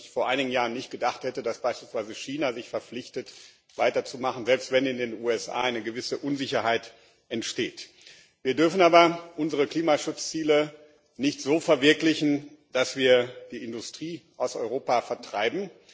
Vor einigen Jahren hätte ich nicht gedacht, dass beispielsweise China sich verpflichtet, weiterzumachen, selbst wenn in den USA eine gewisse Unsicherheit entsteht. Wir dürfen aber unsere Klimaschutzziele nicht so verwirklichen, dass wir die Industrie aus Europa vertreiben.